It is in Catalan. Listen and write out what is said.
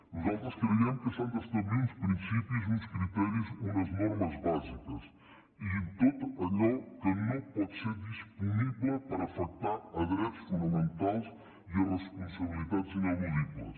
nosaltres creiem que s’han d’establir uns principis uns criteris unes normes bàsiques i en tot allò que no pot ser disponible perquè afecta drets fonamentals i responsabilitats ineludibles